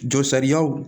Jɔ sariyaw